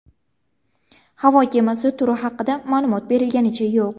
Havo kemasi turi haqida ma’lumot berilganicha yo‘q.